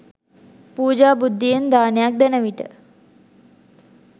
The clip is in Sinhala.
පූජා බුද්ධියෙන් දානයක් දෙන විට